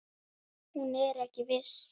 Hún er ekki viss.